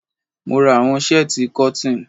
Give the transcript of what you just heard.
Mora àwọn shẹ́tíì cotton.